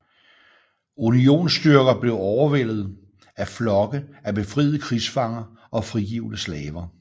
Unionsstyrker blev overvældet af flokke af befriede krigsfanger og frigivne slaver